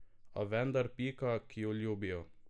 A vendar pika, ki jo ljubijo!